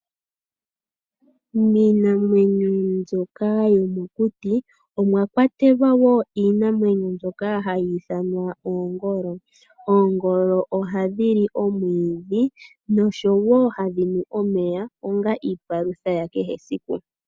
Miinamwenyo mbyoka yomokuti omwa kwatelwa wo iinamwenyo mbyoka hayi ithanwa oongol. Oongolo ohadhi li omwiidhi noshowo hadhi nu omeya onga iipalutha ya kehe esiku.